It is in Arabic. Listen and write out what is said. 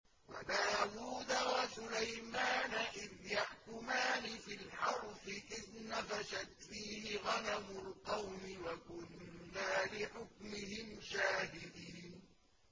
وَدَاوُودَ وَسُلَيْمَانَ إِذْ يَحْكُمَانِ فِي الْحَرْثِ إِذْ نَفَشَتْ فِيهِ غَنَمُ الْقَوْمِ وَكُنَّا لِحُكْمِهِمْ شَاهِدِينَ